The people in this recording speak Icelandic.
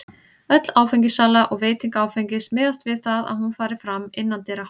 Öll áfengissala og veiting áfengis miðast við það að hún fari fram innandyra.